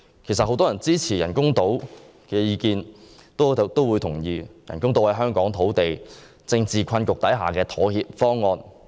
其實，很多支持興建人工島的人均同意，人工島方案是在香港土地政治困局下的妥協方案。